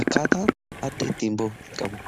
akkaataa adda ittiin ba'u hin qabu.